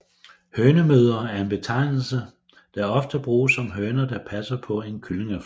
Hønemødre er en betegnelse der ofte bruges om høner der passer på en kyllingeflok